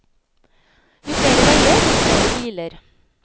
Jo flere veier, dess flere biler.